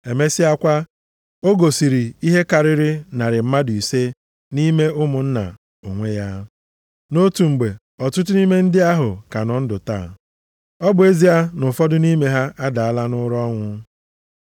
Emesịakwa, o gosiri ihe karịrị narị mmadụ ise nʼime ụmụnna onwe ya, nʼotu mgbe, ọtụtụ nʼime ndị ahụ ka nọ ndụ taa, ọ bụ ezie na ụfọdụ nʼime ha adaala nʼụra ọnwụ.